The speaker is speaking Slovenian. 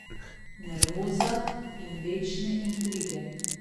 Nervoza in večne intrige.